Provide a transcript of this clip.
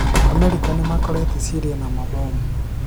Amerika nĩmakorete Syria na mabomu